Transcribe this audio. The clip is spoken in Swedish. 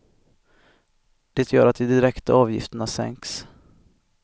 Det gör att de direkta avgifterna sänks.